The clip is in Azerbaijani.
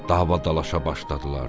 Davaya-dalaşa başladılar.